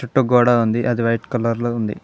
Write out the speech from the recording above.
చుట్టూ గోడ ఉంది అది వైట్ కలర్ లో ఉంది.